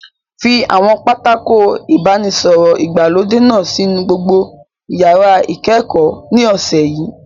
Fi àwọn pátákó ìbánisọ̀rọ̀ ìgbàlódé náà sínú gbogbo yàrá ìkẹ́kọ̀ọ́ ní ọ̀sẹ̀ yìí!